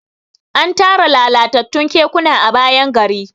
an Tara lalatattun kekuna a bayan gari